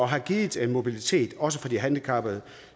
har givet en mobilitet også for de handicappede